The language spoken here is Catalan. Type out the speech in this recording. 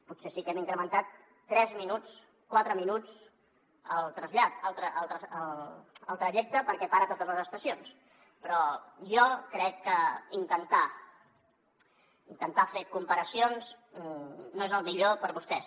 potser sí que hem incrementat tres minuts quatre minuts el trajecte perquè para a totes les estacions però jo crec que intentar fer comparacions no és el millor per a vostès